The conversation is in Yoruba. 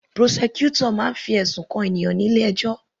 Prosecutor máa ń fi ẹ̀sùn kan ènìyàn nílé ẹjọ́